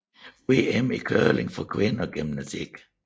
VM i curling for kvinder gennem tiden